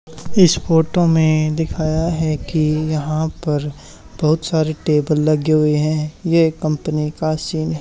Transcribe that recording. इस फोटो में दिखाया है की यहां पर बहुत सारे टेबल लगे हुए हैं ये एक कंपनी का सीन है।